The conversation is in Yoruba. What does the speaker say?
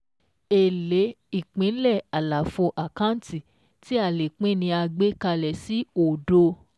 Èlé Ìpínlẹ̀ Àlàfo àkáǹtì tí a lè pín ni a gbé kalẹ̀ sí òdo